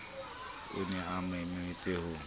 o ne a mametse ha